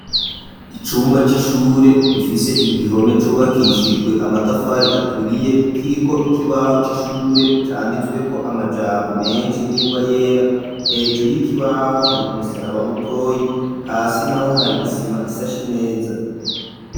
Icumba c'ishure, gifise igihome, cubakishijwe, amatafari aturiye, kiriko ikibaho c'ishure, canditsweko amajambo, menshi, n'ingwa yera; hejuru y'ikibaho, hari umusaraba mutoyi, hasi naho, hari isima, isashe neza.